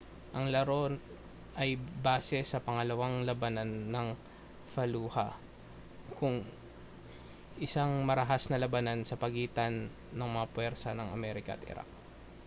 ang laro ay base sa pangalawang labanan ng fallujah isang marahas na labanan sa pagitan ng mga puwersa ng amerika at iraq